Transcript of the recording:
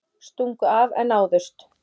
Stungu af en náðust